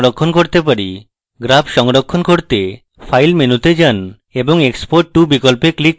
graph সংরক্ষণ করতে file মেনুতে যান এবং export to বিকল্পে click করুন